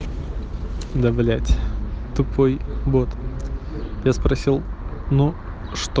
да блять тупой бот я спросил но что